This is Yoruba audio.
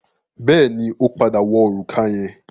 Bẹ́ẹ̀ni, ó padà wọ òrùka yẹn.